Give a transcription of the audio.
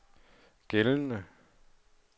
gældende